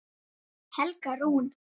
Helga Rún.